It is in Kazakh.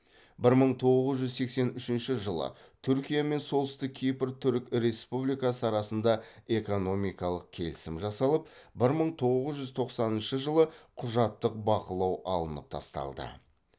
бір мың тоғыз жүз сексен үшінші жылы түркия мен солтүстік кипр түрік республикасы арасында экономикалық келісім жасалып бір мың тоғыз жүз тоқсаныншы жылы құжаттық бақылау алынып тасталды